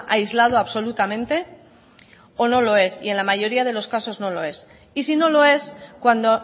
aislado absolutamente o no lo es y en la mayoría de los casos no lo es y si no lo es cuando